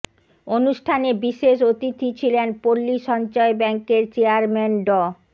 অনুষ্ঠানে বিশেষ অতিথি ছিলেন পল্লী সঞ্চয় ব্যাংকের চেয়ারম্যান ড